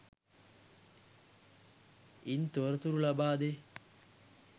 ඉන් තොරතුරු ලබාදේ.